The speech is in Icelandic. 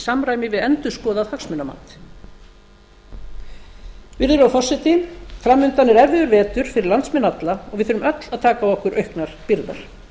samræmi við endurskoðað hagsmunamat virðulegur forseti fram undan er erfiður vetur fyrir landsmenn alla og við þurfum öll að taka á okkur auknar byrðar